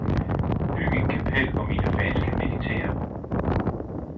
Byg et kapel, hvor mine fans kan meditere.